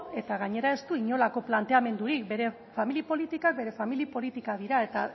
eta gainera ez du inolako planteamendurik bere familia politikak bere familia politikak dira eta